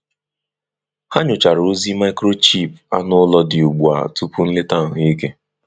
Ha nyochara ozi microchip anụ ụlọ dị ugbu a tupu nleta ahụike.